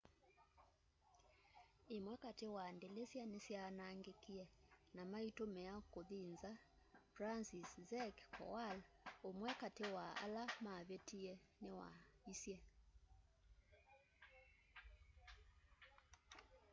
ĩmwe katĩ wa ndĩlĩsya nĩsyaanangĩkĩe na maĩtũmĩa kũthĩ nza franciszek kowal ũmwe katĩ wa ala mavĩtĩe nĩwaisye